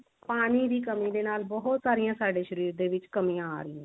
ਪਾਣੀ ਦੀ ਕਮੀ ਸਾਰੀਆਂ ਸਾਡੇ ਸ਼ਰੀਰ ਦੇ ਵਿੱਚ ਕਮੀਆਂ ਆ ਰਹੀਆਂ